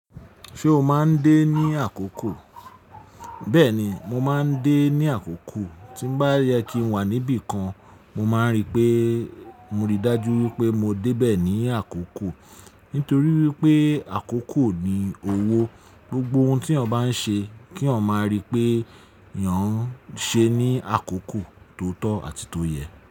Ṣé o má a ń dé ní àkókò? Bẹ́ẹ̀ni, mo má a ń dé ní àkókò. Tí nbá yẹ kí n wà níbi kan, mo má a ń ri pé mo rí dájú wípé mo dé bẹ̀ ní àkókò. Nítorí wípé àkókò ni owó. Gbogbo ohun tí yan bá ń ṣe kí ọ má a ri pé ìyán ṣé ní àkókò tó tọ́ àti tó yẹ.